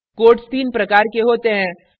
quotes तीन प्रकार के होते हैं